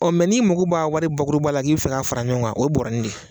n'i mago b'a wari bakuruba la k'i bɛ fɛ k'a fara ɲɔgɔn kan o ye bɔɔrɔnin de ye.